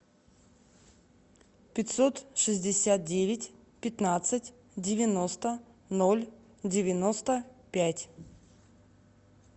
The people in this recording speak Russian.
пятьсот шестьдесят девять пятнадцать девяносто ноль девяносто пять